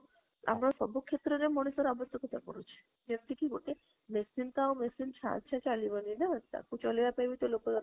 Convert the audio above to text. ଆମର ସବୁ କ୍ଷେତ୍ର ରେ ମଣିଷର ଆବଶ୍ୟକତା ପଡୁଛି ବ୍ୟକ୍ତି କି ଗୋଟେ machine ଟା ଆଉ machine ତାଇଛା ଚାଳିବାଣୀ ନା, ତାକୁ ଚଳେଇବା ପାଇଁବି ତ ଲୋକ